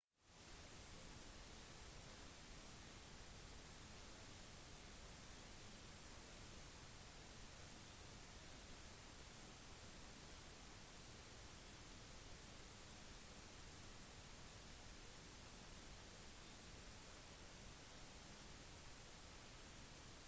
det «typiske» besøket innebærer å fly inn til orlandos internasjonale lufthavn ta bussen til et disney-hotell bli værende omtrent en uke uten å forlate disney-området og returnere hjem